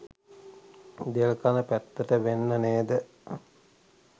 දෙල්කඳ පැත්තට වෙන්න නේද?